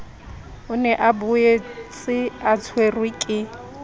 o ne a boetseatshwerwe ke